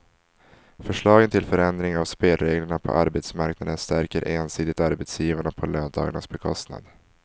Förslagen till förändring av spelreglerna på arbetsmarknaden stärker ensidigt arbetsgivarna på löntagarnas bekostnad.